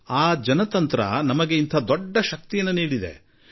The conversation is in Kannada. ಈ ಪ್ರಜಾಪ್ರಭುತ್ವ ನಮಗೆ ದೊಡ್ಡ ಶಕ್ತಿ ತುಂಬಿದೆ